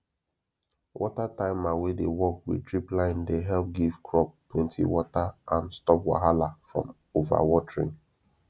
water timer wey dey work with drip line de help give crop plenty water and stop wahala from overwatering